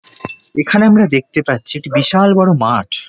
এখানে আমরা দেখতে পাচ্ছি একটি বিশাল বড় মাঠ।